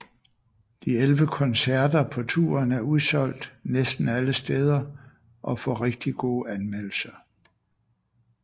De 11 konceerter på touren er udsolgt næsten alle steder og får rigtig gode anmeldelser